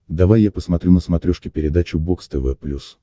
давай я посмотрю на смотрешке передачу бокс тв плюс